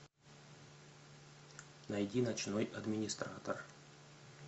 найди ночной администратор